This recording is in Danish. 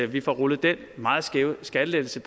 vi får rullet den meget skæve skattelettelse